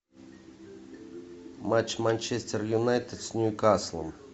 матч манчестер юнайтед с ньюкаслом